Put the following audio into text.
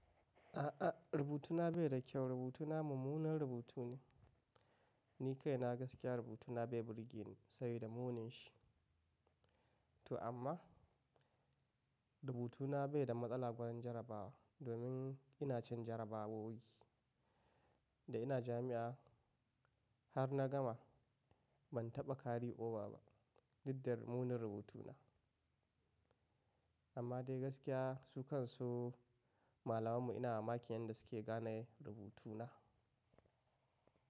A'a, rubutuna bai da kyau. Rubutuna mummunan rubutu ne. Ni kai na gaskiya rubutuna bai burge ni ba, saboda munin shi. To amma rubutuna bai da matsala gurin jarabawa, domin ina cin jarabawowi da ina jami'a. Har na gama ban taɓa kari oba ba. Duk da munin rubutuna. Amma dai gaskiya su kan su malamammu ina mamakin yanda suke gane rubutuna.